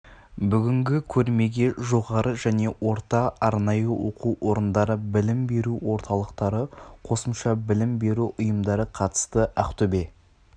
бүгінгі көрмеге жоғары және орта-арнайы оқу орындары білім беру орталықтары қосымша білім беру ұйымдары қатысты ақтөбе